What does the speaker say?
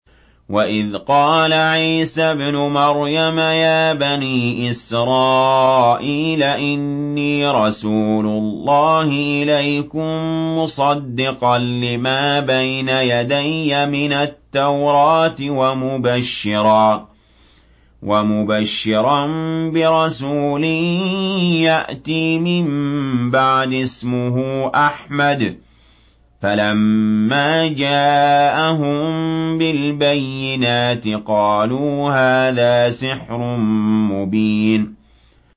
وَإِذْ قَالَ عِيسَى ابْنُ مَرْيَمَ يَا بَنِي إِسْرَائِيلَ إِنِّي رَسُولُ اللَّهِ إِلَيْكُم مُّصَدِّقًا لِّمَا بَيْنَ يَدَيَّ مِنَ التَّوْرَاةِ وَمُبَشِّرًا بِرَسُولٍ يَأْتِي مِن بَعْدِي اسْمُهُ أَحْمَدُ ۖ فَلَمَّا جَاءَهُم بِالْبَيِّنَاتِ قَالُوا هَٰذَا سِحْرٌ مُّبِينٌ